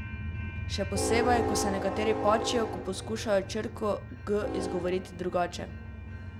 Še posebej, ko se nekateri pačijo, ko poskušajo črko G izgovoriti drugače?